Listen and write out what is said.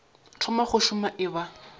thoma go šoma e ba